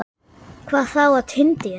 Hvað þá á tindi hennar.